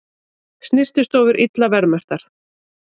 Snyrtistofur illa verðmerktar